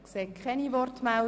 Das ist nicht der Fall.